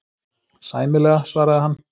Sæmilega, svaraði hann.